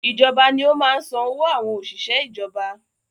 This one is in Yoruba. Ìjọba ní ó máa ń san owó àwọn òṣìṣẹ́ ìjọba